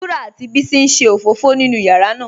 Wurà àti Bísí n ṣé ofófò nínú yàrá ná